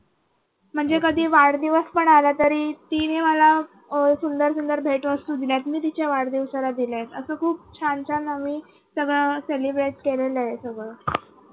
म्हणजे कधी वाढदिवस पण आला तरी तिने मला सुंदर सुंदर भेटवस्तू दिलेत मी तिच्या वाढदिवसाला दिल्यात असं खूप छान छान आम्ही सगळ celebrate केलेलं आहे एकत्र.